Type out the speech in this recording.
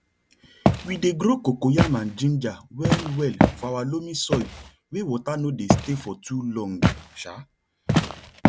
we dey grow cocoyam and ginger well well for our loamy soil wey water no dey stay for too long um